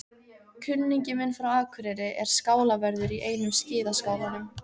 Kunningi minn frá Akureyri er skálavörður í einum skíðaskálanum.